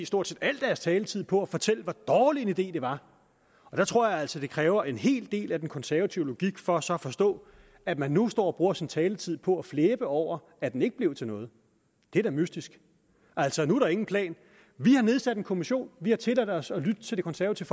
stort set al deres taletid på at fortælle hvor dårlig en idé det var og der tror jeg altså at det kræver en hel del af den konservative logik for så at forstå at man nu står og bruger sin taletid på at flæbe over at den ikke blev til noget det er da mystisk altså nu er der en plan vi har nedsat en kommission vi har tilladt os at lytte til det konservative